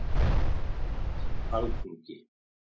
Mynd: Alþingi